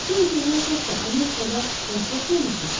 Qətlə yetirilən şəxslə Amerikada rastlaşmamışdınız ki?